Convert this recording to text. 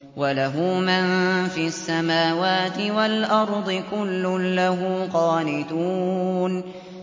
وَلَهُ مَن فِي السَّمَاوَاتِ وَالْأَرْضِ ۖ كُلٌّ لَّهُ قَانِتُونَ